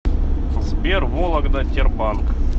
сбер вологда тербанк